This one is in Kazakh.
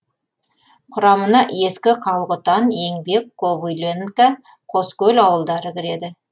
құрамына ескі қалқұтан еңбек ковыленка қоскөл ауылдары кіреді